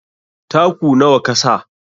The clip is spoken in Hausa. Taku nawa kasa?